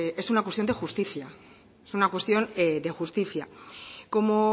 es una cuestión de justicia es una cuestión de justicia como